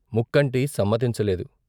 ముక్కంటి సమ్మతించలేదు.